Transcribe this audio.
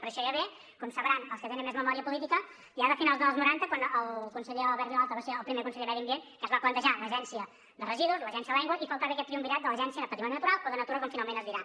però això ja ve com sabran els que tenen més memòria política ja de finals dels noranta quan el conseller albert vilalta va ser el primer conseller de medi ambient que es va plantejar l’agència de residus l’agència de l’aigua hi faltava aquest triumvirat de l’agència de patrimoni natural o de natura com finalment es dirà